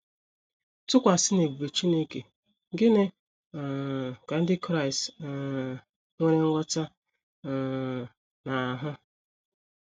Tụkwasị n’ebube Chineke, gịnị um ka ndị Kraịst um nwere nghọta um na - ahụ?